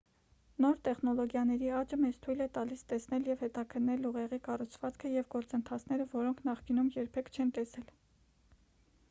նոր տեխնոլոգիաների աճը մեզ թույլ է տալիս տեսնել և հետաքննել ուղեղի կառուցվածքը և գործընթացները որոնք նախկինում երբեք չենք տեսել